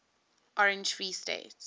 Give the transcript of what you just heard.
orange free state